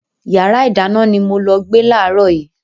Yàrá ìdáná ni mo lọ gbé láàrọ̀ yìí.